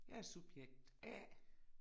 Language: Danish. Jeg er subjekt A